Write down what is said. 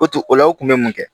O tun ola u kun bɛ mun kɛ